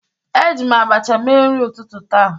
Eji m abacha mee nri ụtụtụ taa.